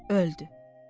Sonra da öldü.